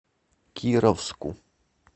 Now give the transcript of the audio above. кировску